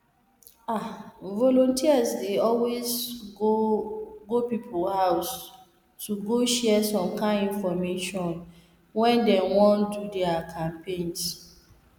ah volunteers dey always go go people house to go share some kind infomation when dey wan do their campaigns